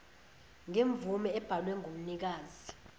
ngemvume ebhalwe ngumnikazi